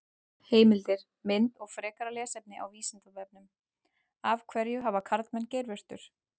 Heimildir, mynd og frekara lesefni á Vísindavefnum: Af hverju hafa karlmenn geirvörtur?